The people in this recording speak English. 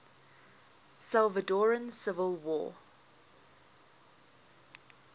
salvadoran civil war